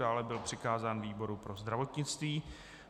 Dále byl přikázán výboru pro zdravotnictví.